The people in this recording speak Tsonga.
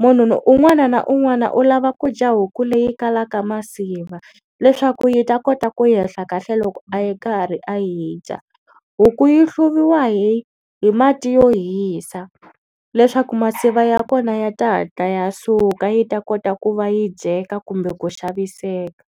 Munhu un'wana na un'wana u lava ku dya huku leyi kalaka masiva leswaku yi ta kota ku yehla kahle loko a yi karhi a yi dya. Huku yi hluviwa hi hi mati yo hisa leswaku masiva ya kona ya ta hatla ya suka yi ta kota ku va yi dyeka kumbe ku xaviseka.